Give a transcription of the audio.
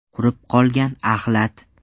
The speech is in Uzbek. Qurib qolgan axlat.